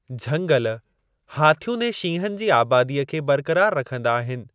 झंगल हाथियुनि ऐं शींहनि जी आबादीअ खे बरक़रार रखंदा आहिनि।